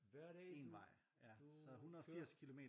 Hver dag du du køre